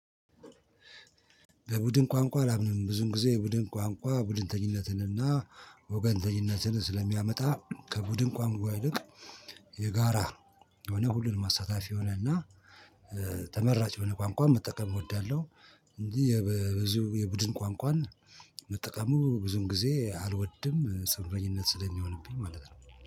በቡድን ቋንቋ አላምንም ብዙን ጊዜ ቡድን ቋንቋ ቡድንተኝነትንና ወገንተኝነትን ስለሚያመጣ ከቡድን ቋምቋ ይልቅ የጋራ የሆነ ሁሉንም አሳታፊ የሆነ እና ተመራጭ የሆነ ቋንቋን መጠቀም እወዳለሁ። እንጂ የብዙ የቡድን ቋንቋን መጠቀሙ ብዙም ጊዜ አልወድም ፅንፈኝነት ስለሚሆንብኝ ማለት ነው።